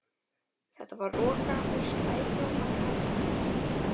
Þetta var roka úr skrækróma karlmanni.